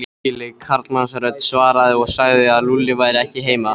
Ergileg karlmannsrödd svaraði og sagði að Lúlli væri ekki heima.